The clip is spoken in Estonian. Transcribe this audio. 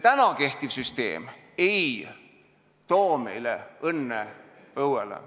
Täna kehtiv süsteem ei too õnne meie õuele.